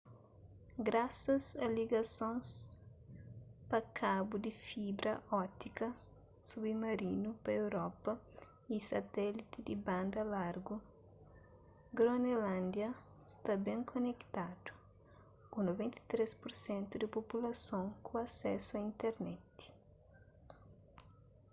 grasas a ligasons pa kabu di fibra ótika submarinu pa europa y satéliti di banda largu gronelândia sta ben konetadu ku 93% di populason ku asésu a internet